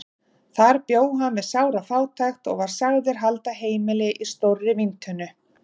Þar bjó hann við sára fátækt og var sagður halda heimili í stórri víntunnu.